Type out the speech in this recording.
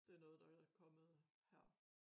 Det noget der er kommet her